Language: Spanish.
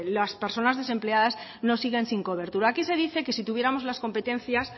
las personas desempleadas no siguen sin cobertura aquí se dice que si tuviéramos las competencias